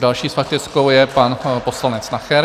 Další s faktickou je pan poslanec Nacher.